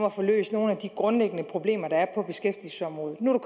at få løst nogle af de grundlæggende problemer der er på beskæftigelsesområdet nu er